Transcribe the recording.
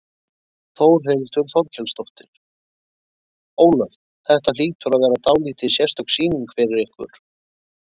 Þórhildur Þorkelsdóttir: Ólöf, þetta hlýtur að vera dálítið sérstök sýning fyrir ykkur?